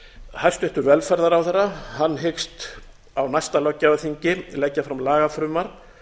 hæstvirtur velferðarráðherra hyggst á næsta löggjafarþingi leggja fram lagafrumvarp